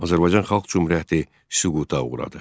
Azərbaycan Xalq Cümhuriyyəti süquta uğradı.